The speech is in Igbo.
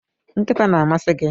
Nkịta na-amasị gị